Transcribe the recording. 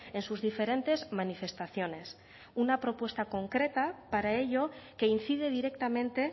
en sus diferentes manifestaciones una propuesta concreta para ello que incide directamente